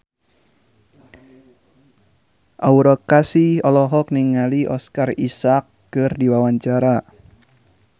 Aura Kasih olohok ningali Oscar Isaac keur diwawancara